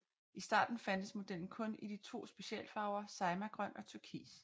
I starten fandtes modellen kun i de to specialfarver Saimagrøn og turkis